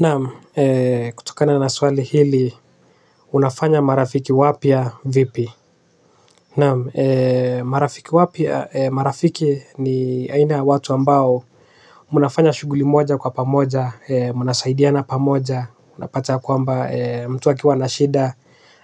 Naam, kutokana na swali hili, unafanya marafiki wapya vipi? Naam, marafiki wapya, marafiki ni aina watu ambao unafanya shughuli moja kwa pamoja mnasaidiana pamoja. Unapata kwamba mtu akiwa anashida